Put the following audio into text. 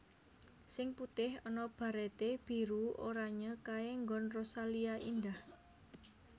Sing putih ana barete biru oranye kae nggon Rosalia Indah